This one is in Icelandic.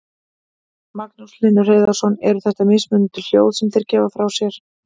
Magnús Hlynur Hreiðarsson: Eru þetta mismunandi hljóð sem þeir gefa frá sér?